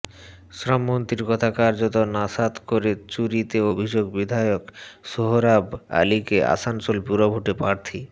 শ্রমমন্ত্রীর কথা কার্যত নস্যাৎ করে চুরিতে অভিযুক্ত বিধায়ক সোহরাব আলিকে আসানসোল পুরভোটে প্রার্থী